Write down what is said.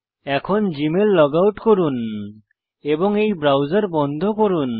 এখন Gmail log out করুন এবং এই ব্রাউজার বন্ধ করুন